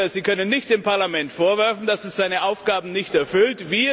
Sie können nicht dem Parlament vorwerfen, dass es seine Aufgaben nicht erfüllt.